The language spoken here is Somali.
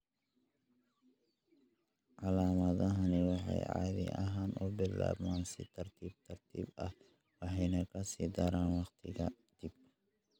Calaamadahani waxay caadi ahaan u bilaabmaan si tartiib tartiib ah waxayna ka sii daraan waqti ka dib.